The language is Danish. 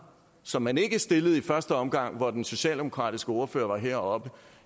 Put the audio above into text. som man ikke stillede i første omgang hvor den socialdemokratiske ordfører var heroppe